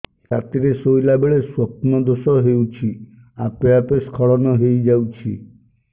ରାତିରେ ଶୋଇଲା ବେଳେ ସ୍ବପ୍ନ ଦୋଷ ହେଉଛି ଆପେ ଆପେ ସ୍ଖଳନ ହେଇଯାଉଛି